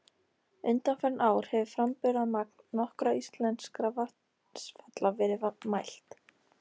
Undanfarin ár hefur framburðarmagn nokkurra íslenskra vatnsfalla verið mælt.